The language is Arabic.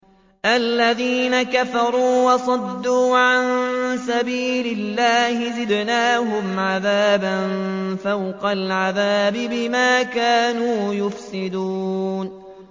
الَّذِينَ كَفَرُوا وَصَدُّوا عَن سَبِيلِ اللَّهِ زِدْنَاهُمْ عَذَابًا فَوْقَ الْعَذَابِ بِمَا كَانُوا يُفْسِدُونَ